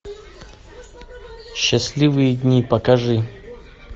счастливые дни покажи